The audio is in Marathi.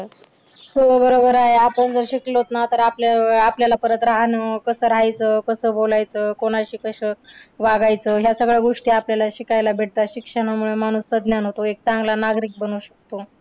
हो बरोबर आहे. आपण जर शिकलोत ना तर आपल्या अह आपल्याला परत राहणं, कसं राहायचं, कसं बोलायचं, कोणाशी कसं वागायचं ह्या सगळ्या गोष्टी आपल्याला शिकायला भेटतात. शिक्षणामुळे माणूस सज्ञान होतो. एक चांगला नागरिक बनू शकतो.